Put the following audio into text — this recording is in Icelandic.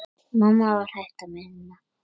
Mamma var hætt að vinna.